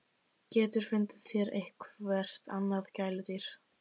GETUR FUNDIÐ ÞÉR EITTHVERT ANNAÐ GÆLUDÝR!